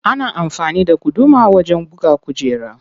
Ana amfani da guduma wajen buga kujera.